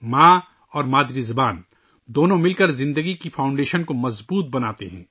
ماں اور مادری زبان مل کر زندگی کی بنیاد کو مضبوط کرتی ہیں